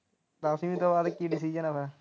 ਦਸਵੀਂ ਤੋਂ ਬਾਅਦ ਕੀ decision ਹੋਇਆ?